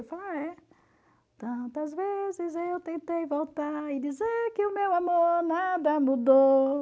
Tantas vezes eu tentei voltar e dizer que o meu amor nada mudou.